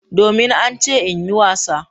Domin an ce in yi wasa.